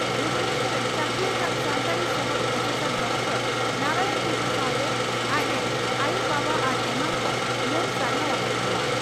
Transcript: ᱵᱷᱩᱵᱚᱱᱮᱥᱚᱨ ᱨᱮ ᱪᱟᱹᱠᱨᱤ ᱟᱠᱟᱫ ᱥᱟᱱᱛᱟᱲᱤ ᱥᱚᱦᱚᱫ ᱯᱨᱚᱯᱷᱮᱥᱟᱨ ᱰᱚᱠᱴᱚᱨ ᱱᱟᱨᱟᱭᱚᱱ ᱴᱩᱰᱩ ᱥᱟᱣᱛᱮ ᱟᱡ ᱨᱮᱱ ᱟᱭᱚ ᱵᱟᱵᱟ ᱟᱨ ᱮᱢᱟᱱ ᱠᱚ ᱢᱟᱹᱱ ᱥᱟᱨᱦᱟᱣ ᱟᱠᱟᱫ ᱠᱚᱣᱟ ᱾